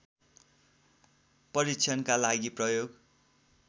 परीक्षणका लागि प्रयोग